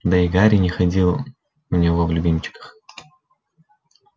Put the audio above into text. да и гарри не ходил у него в любимчиках